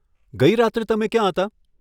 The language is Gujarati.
ગઇ રાત્રે તમે ક્યાં હતા?